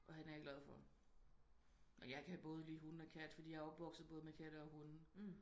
Og hende er jeg glad for men jeg kan både lige hunde og katte fordi jeg er opvokset både med katte og hunde